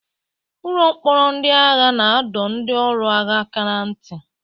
Ụlọ mkpọrọ ndị agha na-adọ ndị ọrụ agha aka ná ntị.